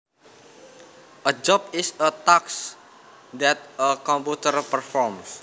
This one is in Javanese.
A job is a task that a computer performs